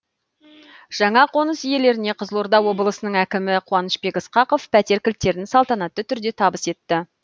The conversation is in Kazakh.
жаңа қоныс иелеріне қызылорда облысының әкімі қуанышбек ысқақов пәтер кілттерін салтанатты түрде табыс етті